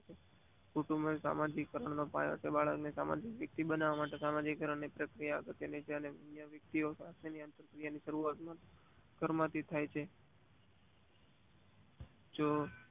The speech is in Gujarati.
કુટુંમ માં સામાજિક વક્તની ને બનવવા માટે સામાજિક અનેક પ્રકિયા પત્ય ની શરૂઆત ઘરમાંથીજ થાય છે. જો